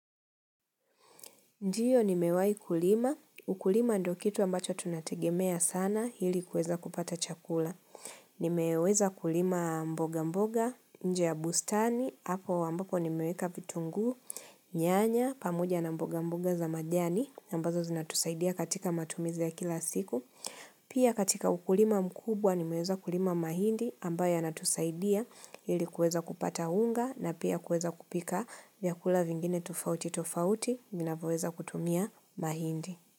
Ndiyo ni mewahi kulima. Ukulima ndo kitu ambacho tunategemea sana hili kuweza kupata chakula. Nimeweza kulima mboga mboga, nje ya bustani, hapo wambako ni meweka vitungu, nyanya, pamoja na mboga mboga za majani, ambazo zinatusaidia katika matumizi ya kila siku. Pia katika ukulima mkubwa ni meweza kulima mahindi ambayo yana tusaidia ili kuweza kupata unga na pia kueza kupika ya kula vingine tufauti tufauti minavoweza kutumia mahindi.